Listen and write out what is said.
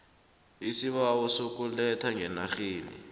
isibawo sokuletha ngeenarheni